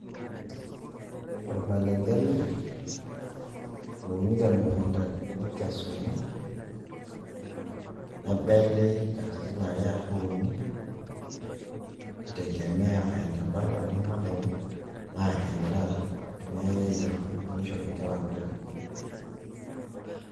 Ormaleng'e ele louni temukunda nekesuni, nebeli katitin are arashu uni i tegemea eneba oladuoo maleng'ei naa endaa teneyai aayierr oloshoro nishori nkera kutitik.